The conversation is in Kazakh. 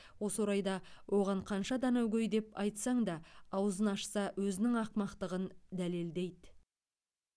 осы орайда оған қанша данагөй деп айтсаң да аузын ашса өзінің ақымақтығын дәлелдейді